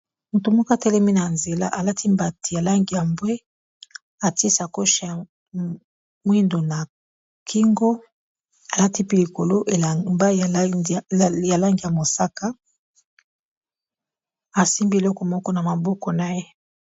Motu moko atelemi na nzela. Alati mbati ya langi ya mbwe. Atie sacoshe ya mwindu na kingo. Alati pe likolo elamba ya langi ya mosaka. Asimbi eloko moko na maboko na ye.